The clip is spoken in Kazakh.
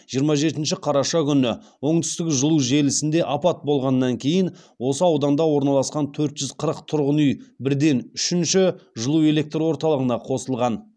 жиырма жетінші қараша күні оңтүстік жылу желісінде апат болғаннан кейін осы ауданда орналасқан төрт жүз қырық тұрғын үй бірден үшінші жылу электр орталығына қосылған